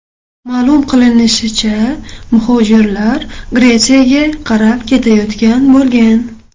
Ma’lum qilinishicha, muhojirlar Gretsiyaga qarab ketayotgan bo‘lgan.